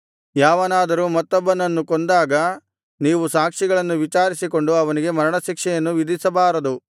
ಯಾವನಾದರೂ ಮತ್ತೊಬ್ಬನನ್ನು ಕೊಂದಾಗ ನೀವು ಸಾಕ್ಷಿಗಳನ್ನು ವಿಚಾರಿಸಿಕೊಂಡು ಅವನಿಗೆ ಮರಣಶಿಕ್ಷೆಯನ್ನು ವಿಧಿಸಬಾರದು